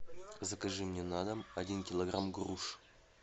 закажи мне на дом один килограмм груш